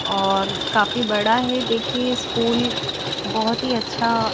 और काफी बड़ा है देखिए स्कूल बहोत ही अच्छा--